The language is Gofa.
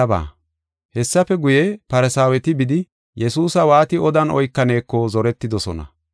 Hessafe guye, Farsaaweti bidi, Yesuusa waati odan oykaneeko zoretidosona.